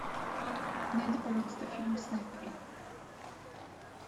найди пожалуйста фильм снайперы